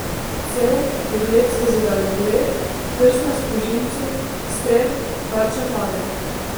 Cev, pogled skozi daljnogled, prst na sprožilcu, strel, tarča pade.